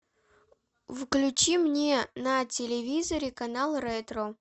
включи мне на телевизоре канал ретро